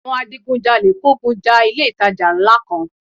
Àwọn adigun jalè kógun ja ilé ìtajà ńlá kan